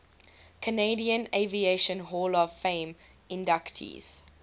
canadian aviation hall of fame inductees